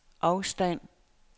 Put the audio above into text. afstand